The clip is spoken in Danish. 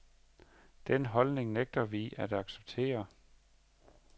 Den holdning nægter vi at acceptere.